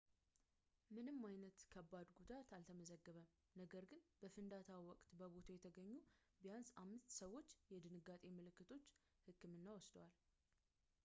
ምንም ዓይነት ከባድ ጉዳት አልተመዘገበም ነገር ግን በፍንዳታው ወቅት በቦታው የተገኙ ቢያንስ አምስት ሰዎች የድንጋጤ ምልክቶች ሕክምና ወስደዋል